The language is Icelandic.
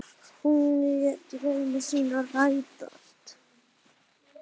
Hún lét drauma sína rætast.